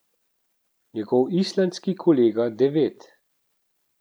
Njegov islandski kolega devet.